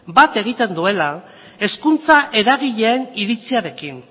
bat egiten duela hezkuntza eragileen iritziarekin